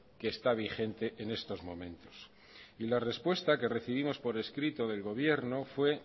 que está vigente en estos momentos y la respuesta que recibimos por escrito del gobierno fue